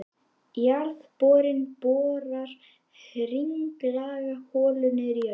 Jarðborinn borar hringlaga holu niður í jörðina.